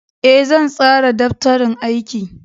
Ee, zan tsara daftarin aiki.